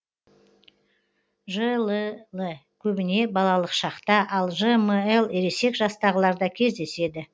жлл көбіне балалық шақта ал жмл ересек жастағыларда кездеседі